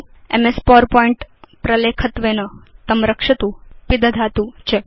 MS power point प्रलेखत्वेन तं रक्षतु पिदधातु च